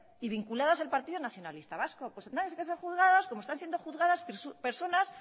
y vinculadas al partido nacionalista vasco pues tendrán que ser juzgados como están siendo juzgadas personas